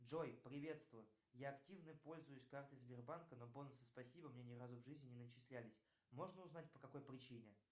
джой приветствую я активно пользуюсь картой сбербанка но бонусы спасибо мне ни разу в жизни не начислялись можно узнать по какой причине